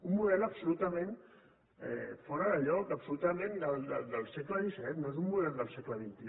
un model absolutament fora de lloc absolutament del segle xvii no és un model del segle xxi